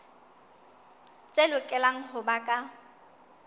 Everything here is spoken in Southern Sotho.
tse lokelang ho ba ka